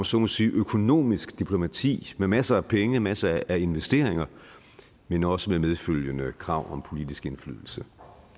så må sige økonomisk diplomati med masser af penge og masser af investeringer men også med medfølgende krav om politisk indflydelse